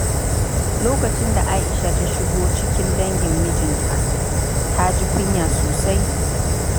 Lokacin da Aisha ta shigo cikin dangin mijinta, ta ji kunya sosai.